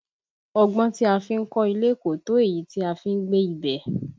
Ọgbọ́n tí a fi ń kọ́ ilé kò tó èyí tí a fi n gbé ibẹ̀